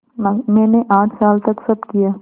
मैंने आठ साल तक सब किया